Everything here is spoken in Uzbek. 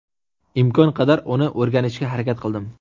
Imkon qadar uni o‘rganishga harakat qildim.